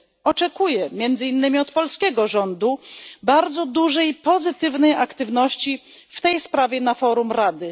Oczekuję między innymi od polskiego rządu bardzo dużej pozytywnej aktywności w tej sprawie na forum Rady.